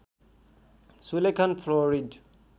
सुलेखन fluoride